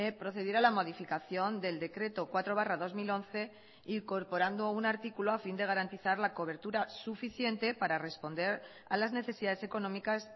procediera a la modificación del decreto cuatro barra dos mil once incorporando un artículo a fin de garantizar la cobertura suficiente para responder a las necesidades económicas